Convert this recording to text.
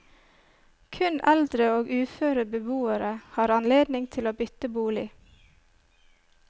Kun eldre og uføre beboere har anledning til å bytte bolig.